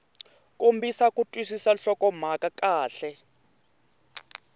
kombisa ku twisisa nhlokomhaka kahle